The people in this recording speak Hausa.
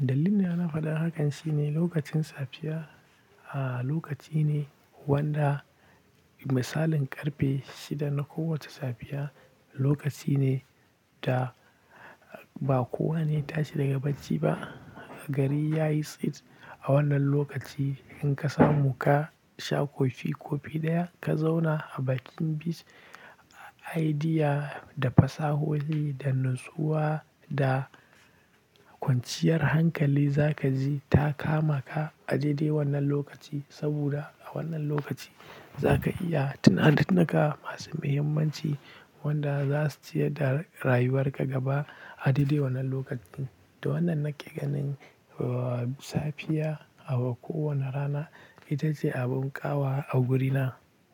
Dalilina na faɗar hakan shine lokacin safiya, ah, lokaci ne wanda misalin ƙarfe shida na kowace safiya lokaci ne da ba kowane ya tashi daga bacci ba. Gari ya yi tsit a wannan lokaci in ka samu ka sha kofi-kofi ɗaya ka zauna a bakin bishi ayidiya da fasahohi da nutsuwa da kwanciyar hankali za ka ji ta kama ka a daidai wannan lokaci. Saboda a wannan lokaci za ka iya tunanini ka masu muhimmanci wanda za su ciyar da rayuwar ka gaba a daidai wannan lokacin. Da wannan nake ganin, uh, safiya a kowane rana ita ce abun ƙawa a guri na.